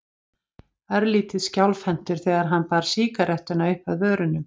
Örlítið skjálfhentur þegar hann bar sígarettuna uppað vörunum.